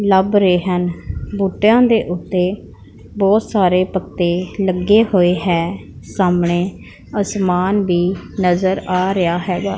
ਲੱਭ ਰਹੇ ਹਨ ਬੂਟਿਆਂ ਦੇ ਓੱਤੇ ਬਹੁਤ ਸਾਰੇ ਪੱਤੇ ਲੱਗੇ ਹੋਏ ਹੈਂ ਸਾਹਮਣੇ ਆਸਮਾਨ ਵੀ ਨਜ਼ਰ ਆ ਰਿਹਾ ਹਿਗਾ।